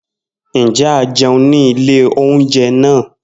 Njẹ a jẹun ni ile ounjẹ naa?